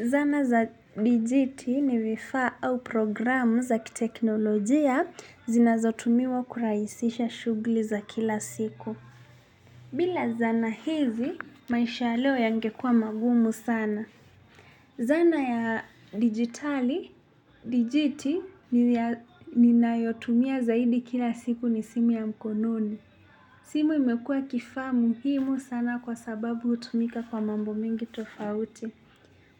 Zana za dijiti ni vifaa au programu za kiteknolojia zinazotumiwa kurahisisha shugli za kila siku. Bila zana hizi, maisha leo yangekua magumu sana. Zana ya digitali, dijiti, ninayotumia zaidi kila siku ni simu ya mkononi. Simu imekuwa kifaa muhimu sana kwa sababu utumika kwa mambo mingi tofauti.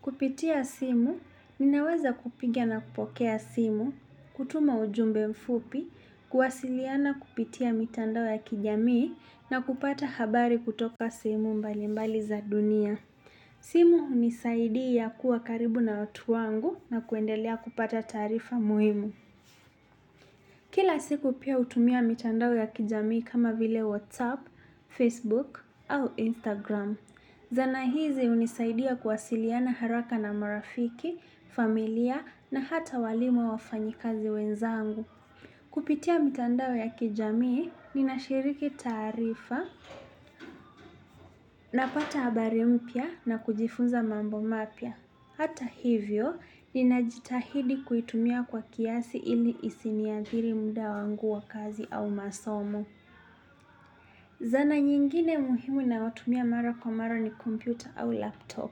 Kupitia simu, ninaweza kupiga na kupokea simu, kutuma ujumbe mfupi, kuwasiliana kupitia mitandao ya kijamii na kupata habari kutoka sehemu mbali mbali za dunia. Simu unisaidia kuwa karibu na watu wangu na kuendelea kupata taarifa muhimu. Kila siku pia utumia mitandao ya kijamii kama vile WhatsApp, Facebook au Instagram. Zana hizi unisaidia kuwasiliana haraka na marafiki, familia na hata walimu wafanyi kazi wenzangu. Kupitia mitandao ya kijamii, nina shiriki taarifa na pata habari mpya na kujifunza mambo mapya. Hata hivyo, ninajitahidi kuitumia kwa kiasi ili isiniathiri muda wangu wa kazi au masomo. Zana nyingine muhimu nayotumia mara kwa mara ni computer au laptop.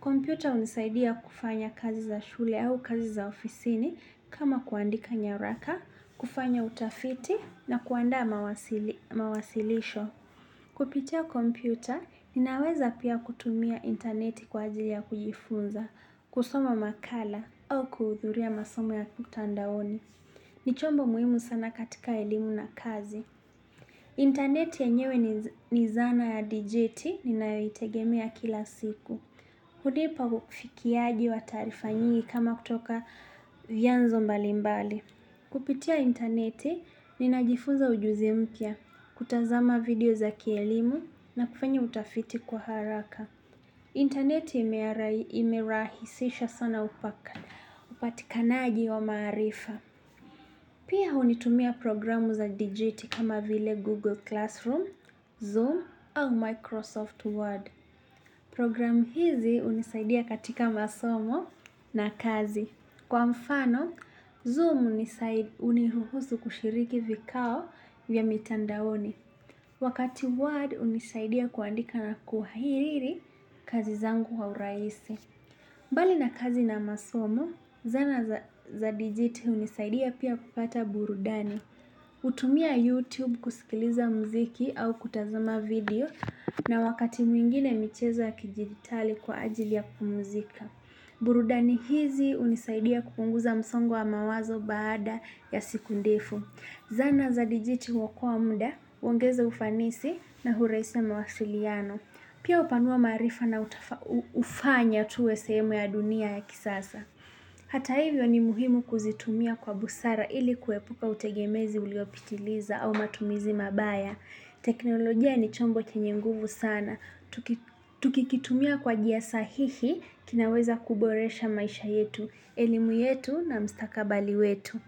Kompyuta unisaidia kufanya kazi za shule au kazi za ofisini kama kuandika nyaraka, kufanya utafiti na kuandaa mawasilisho. Kupitia kompyuta, ninaweza pia kutumia interneti kwa ajili ya kujifunza, kusoma makala au kuhudhuria masomo ya mtandaoni. Nichombo muhimu sana katika elimu na kazi. Interneti yenyewe ni zana ya digiti ni nayoitegemea kila siku. Hunipa ufikiaji wa taarifa nyingi kama kutoka vyanzo mbali mbali. Kupitia interneti, ninajifuza ujuzi mpya, kutazama video za kielimu na kufanya utafiti kwa haraka. Interneti imerahi sisha sana upaka, upatikanaji wa maarifa. Pia unitumia programu za digiti kama vile Google Classroom, Zoom au Microsoft Word. Program hizi unisaidia katika masomo na kazi. Kwa mfano, Zoom uniruhusu kushiriki vikao vya mitandaoni. Wakati Word unisaidia kuandika na kuhairiri kazi zangu wa uraisi. Mbali na kazi na masomo, zana za digiti unisaidia pia kupata burudani. Utumia YouTube kuskiliza mziki au kutazama video na wakati mwingine michezo ya kijiditali kwa ajili ya kupumuzika. Burudani hizi unisaidia kupunguza msongo wa mawazo baada ya siku ndefu. Zana za dijiti huokoa mda, uongeza ufanisi na urahisi ya mawasiliano. Pia upanua maarifa na ufanya tuwe sehemu ya dunia ya kisasa. Hata hivyo ni muhimu kuzitumia kwa busara ili kuepuka utegemezi uliopitiliza au matumizi mabaya. Teknolojia ni chombo chenye nguvu sana tuki. Tukikitumia kwa jia sahihi kinaweza kuboresha maisha yetu, elimu yetu na mstakabali wetu.